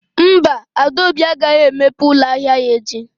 Mba, Adaobi agaghị emepe ụlọ ahịa ya echi